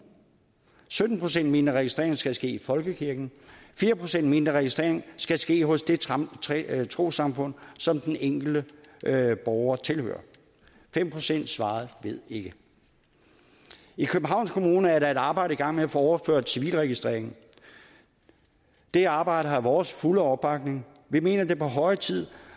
sytten procent mente at registreringen skal ske i folkekirken fire procent mente at registreringen skal ske hos det trossamfund som den enkelte borger tilhører fem procent svarede ved ikke i københavns kommune er der et arbejde i gang med at få overført civilregistreringen det arbejde har vores fulde opbakning vi mener det er på høje tid